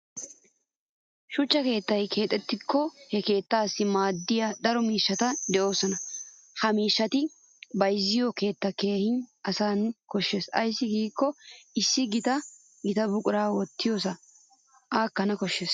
Shuchchan keettaa keexxikko he keettaassi maaddiya daro miishshati de'oosona. Ha miishshata bayzziyo keettaa keehin aassana koshshes ayssi giikko issi gita gita buqura wottiyosay aakkana koshshes.